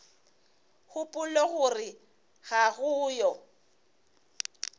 gopola gore ga go yo